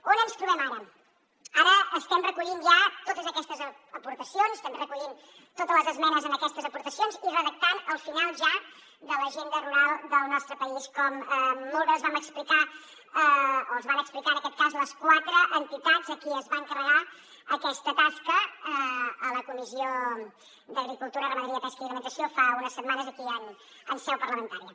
on ens trobem ara ara estem recollint ja totes aquestes aportacions estem recollint totes les esmenes a aquestes aportacions i redactant el final ja de l’agenda rural del nostre país com molt bé els vam explicar o els van explicar en aquest cas les quatre entitats a qui es va encarregar aquesta tasca a la comissió d’agricultura ramaderia pesca alimentació i món rural fa unes setmanes aquí en seu parlamentària